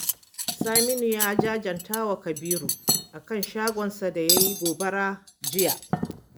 Saminu ya jajanta wa Kabiru a kan shagonsa da ya yi gobara jiya